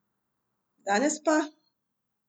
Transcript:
Danes pa?